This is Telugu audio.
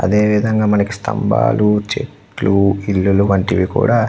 అదే విధంగా మనకి స్తంభాలు చెట్లు ఇల్లులు వంటివి కూడా --